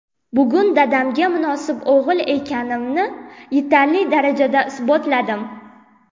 Bugun dadamga munosib o‘g‘il ekanimni yetarli darajada isbotladim.